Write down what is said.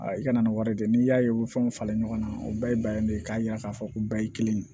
i kana ni wari de ye n'i y'a ye u bɛ fɛnw falen ɲɔgɔn na o bɛɛ ye de ye k'a yira k'a fɔ ko bɛɛ ye kelen ye